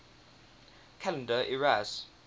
calendar eras